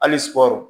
Hali sugɔro